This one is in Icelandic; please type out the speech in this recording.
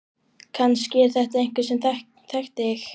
Kannski er þetta einhver sem þekkti þig.